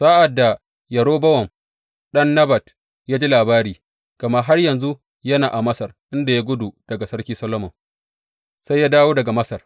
Sa’ad da Yerobowam ɗan Nebat ya ji labari gama har yanzu yana a Masar, inda ya gudu daga Sarki Solomon, sai ya dawo daga Masar.